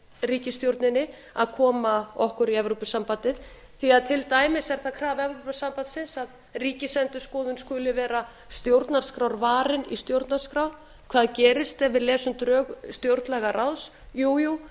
ríkisstjórninni að koma okkur í evrópusambandið því að til dæmis er það krafa evrópusambandsins að ríkisendurskoðun skuli vera stjórnarskrárvarin í stjórnarskrá hvað gerist ef við lesum drög stjórnlagaráðs jú jú